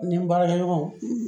Ni baarakɛɲɔgɔn